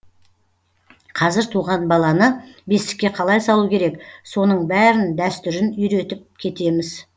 қазір туған баланы бесікке қалай салу керек соның бәрін дәстүрін үйретіп кетеміз